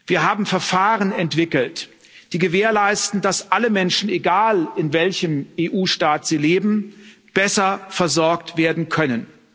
Wir haben Verfahren entwickelt, die gewährleisten, dass alle Menschen egal in welchem EU Staat sie leben besser versorgt werden können.